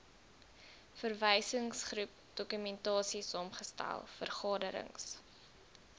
verwysingsgroep dokumentasiesaamgestel vergaderings